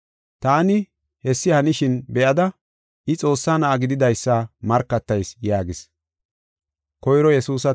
Taani hessi hanishin be7ada, I Xoossaa Na7aa gididaysa markatayis” yaagis.